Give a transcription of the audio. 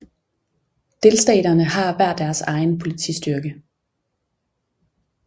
Delstaterne har hver deres egen politistyrke